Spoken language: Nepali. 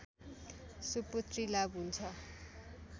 सुपुत्री लाभ हुन्छ